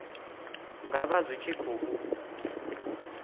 nga vha zwi tshi khou